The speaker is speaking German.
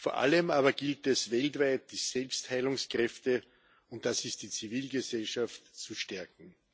Vor allem aber gilt es, weltweit die Selbstheilungskräfte und das ist die Zivilgesellschaft zu stärken.